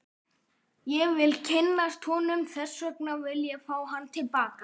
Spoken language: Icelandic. Ég vil kynnast honum og þess vegna vil ég fá hann til baka.